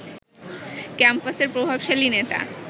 ক্যাম্পাসের প্রভাবশালী নেতা